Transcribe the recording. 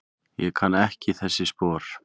Ég kann ekki þessi spor.